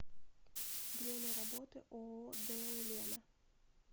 время работы ооо дэу лена